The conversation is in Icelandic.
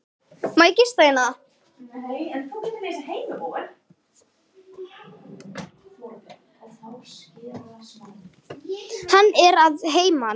Hann er að heiman.